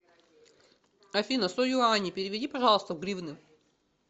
афина сто юаней переведи пожалуйста в гривны